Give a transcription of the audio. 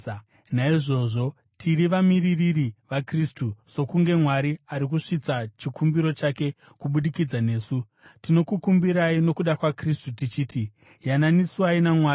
Naizvozvo tiri vamiririri vaKristu, sokunge Mwari ari kusvitsa chikumbiro chake kubudikidza nesu. Tinokukumbirai nokuda kwaKristu tichiti: Yananiswai naMwari.